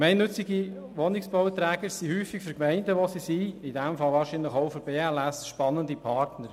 Gemeinnützige Wohnungsbauträger sind häufig spannende Partner für Gemeinden, in denen sie tätig sind, in diesem Fall vermutlich auch für die BLS.